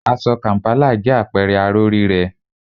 Aṣọ kàm̀pálà jẹ́ àpẹẹrẹ aró rírẹ́